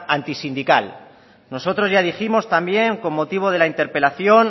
antisindical nosotros ya dijimos también con motivo de la interpelación